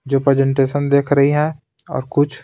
जो प्रेजेंटेशन देख रही है और कुछ--